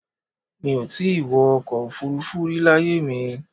Mi ò ì tí ì wọ́ ọkọ̀ Òfurufú rí láyé mi